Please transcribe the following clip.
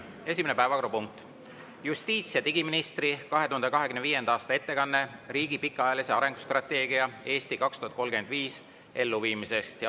Esimene päevakorrapunkt: justiits‑ ja digiministri 2025. aasta ettekanne riigi pikaajalise arengustrateegia "Eesti 2035" elluviimisest.